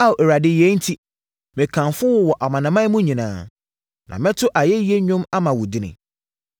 Ao Awurade yei enti, mɛkamfo wo wɔ amanaman mu nyinaa; na mɛto ayɛyie nnwom ama wo edin.